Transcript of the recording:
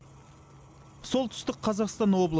солтүстік қазақстан облысы